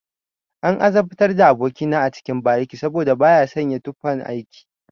An azabtar da aboki na a cikin bariki saboda baya sanya tufan aiki.